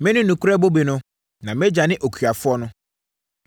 “Mene nokorɛ bobe no, na mʼAgya ne okuafoɔ no.